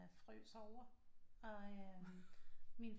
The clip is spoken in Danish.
Frøs over og øh min